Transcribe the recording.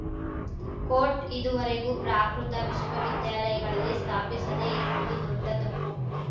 coat ಇದುವರೆಗೂ ಪ್ರಾಕೃತ ವಿಶ್ವವಿದ್ಯಾಲಯಗಳಲ್ಲಿ ಸ್ಥಾಪಿಸದೇ ಇರುವುದು ದೊಡ್ಡ ತಪ್ಪು